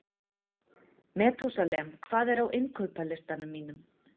Metúsalem, hvað er á innkaupalistanum mínum?